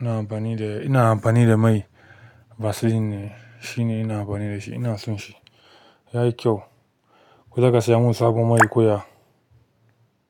ina amfani da, ina amfani da mai Vaseline ne. Shi ne ina amfani da shi. Ina son shi. Ya yi kyau. Ko za ka saya mun sabon mai koya?